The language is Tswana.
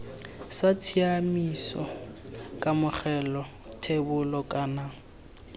sa tshiaimiso kamogelo thebolo kana